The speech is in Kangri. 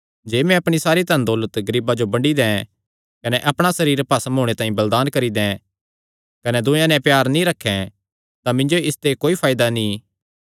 जे मैं अपणी सारी धनदौलत गरीबां जो बंड्डी दैं कने अपणा सरीर भस्म होणे तांई बलिदान करी दैं कने दूयेयां नैं प्यार नीं रखैं तां मिन्जो इसते कोई फायदा नीं